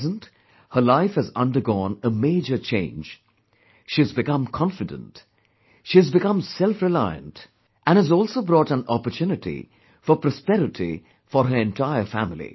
At present, her life has undergone a major change, she has become confident she has become selfreliant and has also brought an opportunity for prosperity for her entire family